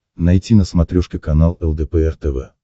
найти на смотрешке канал лдпр тв